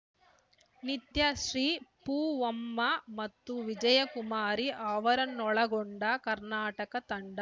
ನಿತ್ಯಶ್ರೀ ಪೂವಮ್ಮ ಮತ್ತು ವಿಜಯ್‌ಕುಮಾರಿ ಅವರನ್ನೊಳಗೊಂಡ ಕರ್ನಾಟಕ ತಂಡ